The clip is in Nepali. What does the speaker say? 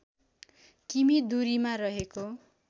किमि दूरीमा रहेको